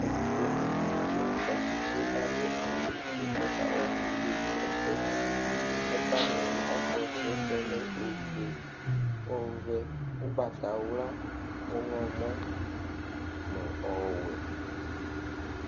Ɛtʋfʋe nɩvɩ di akɔ tsɩtsɩɩ kadʋ awʋ fue kɔkawa evɩdze dɩ ɛsɛ ɛku wanɩ ɔkasu lɛ ofue ɔvɛ ugbatawla ɔwlɔmɔ nʋ ɔwɛɛ